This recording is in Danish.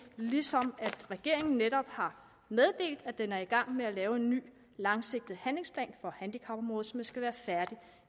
ligesom regeringen netop har meddelt at den er i gang med at lave en ny langsigtet handlingsplan på handicapområdet som skal være færdig